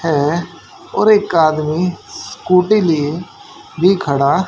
हैं और एक आदमी स्कूटी लिए भी खड़ा--